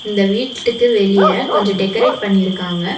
இந்த வீட்டுக்கு வெளிய கொஞ்சம் டெக்கரெட் பண்ணிருக்காங்க.